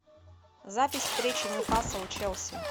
запись встречи ньюкасл челси